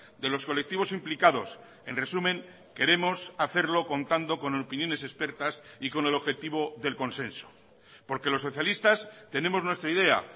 de los colectivos implicados en resumen queremos hacerlo contando con opiniones expertas y con el objetivo del consenso porque los socialistas tenemos nuestra idea